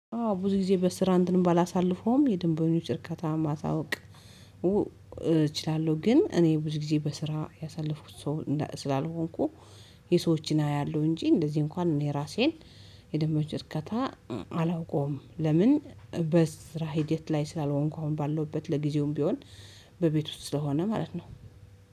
አዎ ብዙ ጊዜ በስራ እንትን ባላሳልፈውም የደንበኞች እርካታ ማሳወቅ። እችላለሁ ግን እኔ ብዙ ጊዜ በስራ ያሳለፍኩት ሰው ስላልሆንኩ። የሰዎችን አያለሁ እንጂ እንደዚህ እንኳን እኔ ራሴን የደንበኞች እርካታ አላውቀውም። ለምን? በስራ ሂደት ላይ ስላልሆንኩ አሁን ባለሁበት ለጊዜውም ቢሆን በቤት ውስጥ ስለሆነ ማለት ነው።